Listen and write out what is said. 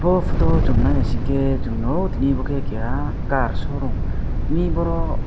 o photo o song nai naisike swngnogo tini abo ke keha car show room ni borok.